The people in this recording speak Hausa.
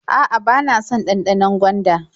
A'a, bana son ɗanɗanon gwanda.